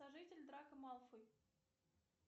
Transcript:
сожитель драко малфой